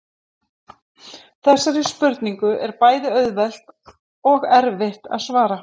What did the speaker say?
Þessari spurningu er bæði auðvelt og erfitt að svara.